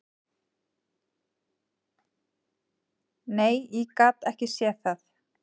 Nei, ég gat ekki séð það.